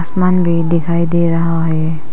मंदिर दिखाई दे रहा है।